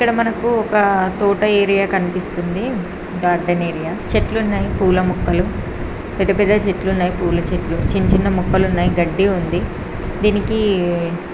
ఇక్కడ మనకు ఒక తోట ఏరియా కనిపిస్తుంది. Garden area. చెట్లున్నాయి పూల మొక్కలు పెద్ద పెద్ద చెట్లు ఉన్నాయి. పూల చెట్లు చిన్నచిన్న మొక్కలున్నాయి గడ్డి ఉంది దీనికి.